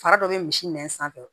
Fara dɔ bɛ misi nɛn sanfɛ